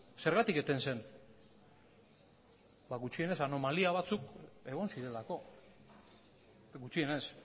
zergatik eten den ba gutxienez anomalia batzuk egon zirelako gutxienez